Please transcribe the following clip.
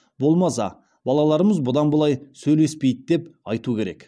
болмаса балаларымыз бұдан былай сөйлеспейді деп айту керек